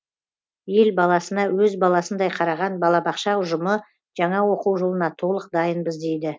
ел баласына өз баласындай қараған балабақша ұжымы жаңа оқу жылына толық дайынбыз дейді